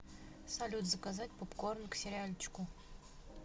салют заказать попкорн к сериальчику